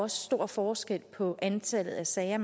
stor forskel på antallet af sager